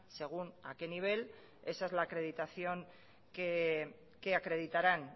según a qué nivel esa es la acreditación que acreditarán